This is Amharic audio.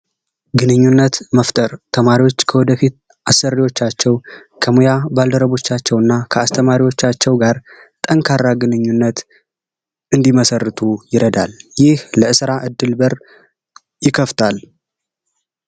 ግንኙነት መፍጠር ተማሪዎች ከወደፊት አሰሪዎቻቸውና የስራ ባልደረቦቻቸው ጋር ጠንካራ ግንኙነት እንዲመሰረቱ ይረዳል። ለስራ እድል በር ይከፍታል።